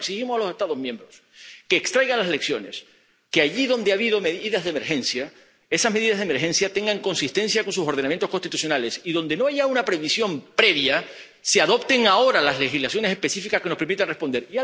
Por tanto, exigimos a los Estados miembros que extraigan las lecciones, que, allí donde ha habido medidas de emergencia, esas medidas de emergencia sean coherentes con sus ordenamientos constitucionales, y que, donde no haya una previsión previa, se adopten ahora las legislaciones específicas que nos permitan responder